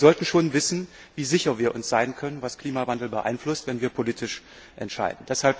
Wir sollten schon wissen, wie sicher wir uns sein können, was den Klimawandel beeinflusst, wenn wir politisch entscheiden.